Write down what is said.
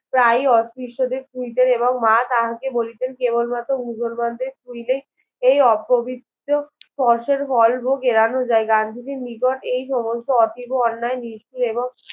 প্রায় অপৃষ্টদের এবং মা তাহাকে বলিতেন কেবল মাত্র মুসলমানদের ছুঁইলেই এই ও পবিত্র স্পর্শের ফল ভোগ এরোন যায় গান্ধীজির নিকট এই সমস্ত অতীব অন্যায় নিষ্ক্রিয় এবং